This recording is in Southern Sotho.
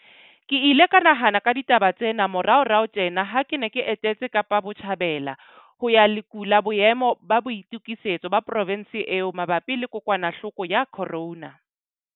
Ke ile ka nahana ka ditaba tsena moraorao tjena ha ke ne ke etetse Kapa Botjhabela ho ya lekola boemo ba boitokisetso ba provense eo mabapi le kokwanahloko ya corona.